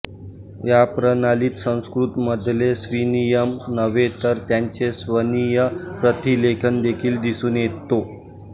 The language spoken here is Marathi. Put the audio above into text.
या प्रणालीत संस्कृत मधले स्वनिमच नव्हे तर त्यांचे स्वनीय प्रतिलेखन देखील दिसून येतो